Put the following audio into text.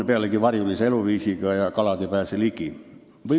Pealegi on ta varjulise eluviisiga ja kalad ei pääse ligi.